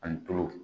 Ani tulo